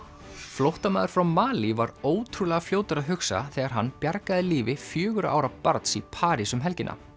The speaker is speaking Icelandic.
flóttamaður frá Malí var ótrúlega fljótur að hugsa þegar hann bjargaði lífi fjögurra ára barns í París um helgina